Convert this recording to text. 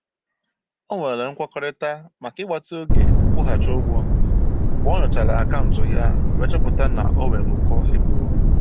O nwere nkwekọrịta maka ịgbatị oge nkwụghachị ụgwọ mgbe ọ nyochara akaụntụ ya wee chọpụta na o nwere ụkọ ego.